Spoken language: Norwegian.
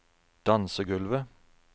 dansegulvet